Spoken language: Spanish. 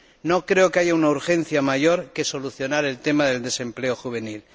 No creo que haya una urgencia mayor que solucionar el tema del desempleo juvenil.